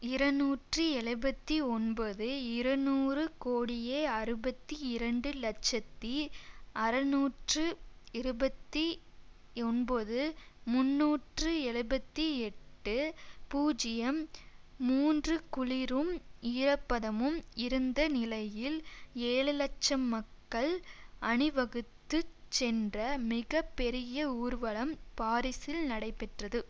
இரநூற்றி எழுபத்தி ஒன்பது இரநூறு கோடியே அறுபத்தி இரண்டு இலட்சத்தி அறுநூற்று இருபத்தி ஒன்பது முன்னூற்று எழுபத்தி எட்டு பூஜ்ஜியம் மூன்றுகுளிரும் ஈரப்பதமும் இருந்த நிலையில் ஏழு இலட்சம் மக்கள் அணிவகுத்து சென்ற மிக பெரிய ஊர்வலம் பாரிசில் நடைபெற்றது